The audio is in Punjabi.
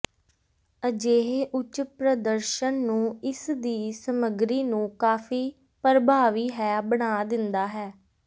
ਅਜਿਹੇ ਉੱਚ ਪ੍ਰਦਰਸ਼ਨ ਨੂੰ ਇਸ ਦੀ ਸਮੱਗਰੀ ਨੂੰ ਕਾਫ਼ੀ ਪਰਭਾਵੀ ਹੈ ਬਣਾ ਦਿੰਦਾ ਹੈ